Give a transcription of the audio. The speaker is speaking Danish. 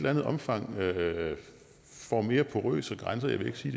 andet omfang får mere porøse grænser jeg vil ikke sige